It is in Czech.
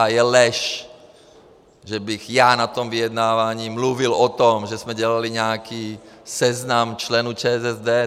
A je lež, že bych já na tom vyjednávání mluvil o tom, že jsme dělali nějaký seznam členů ČSSD.